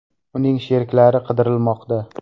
Uning sheriklari qidirilmoqda.